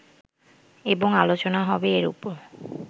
এবং আলোচনা হবে এর উপর